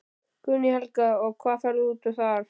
Guðný Helga: Og hvað fer út þar?